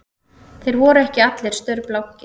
Þeir voru ekki allir staurblankir